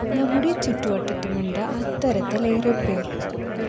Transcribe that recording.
നമ്മുടെ ചുറ്റുവട്ടത്തുമുണ്ട് അത്തരത്തില്‍ ഏറെപ്പേര്‍